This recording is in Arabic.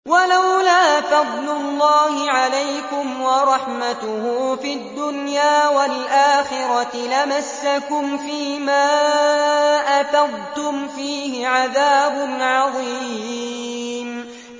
وَلَوْلَا فَضْلُ اللَّهِ عَلَيْكُمْ وَرَحْمَتُهُ فِي الدُّنْيَا وَالْآخِرَةِ لَمَسَّكُمْ فِي مَا أَفَضْتُمْ فِيهِ عَذَابٌ عَظِيمٌ